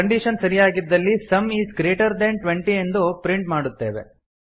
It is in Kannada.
ಕಂಡೀಶನ್ ಸರಿಯಾಗಿದ್ದಲ್ಲಿ sum is greater than twenty ಎಂದು ಪ್ರಿಂಟ್ ಮಾಡುತ್ತೇವೆ